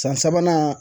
San sabanan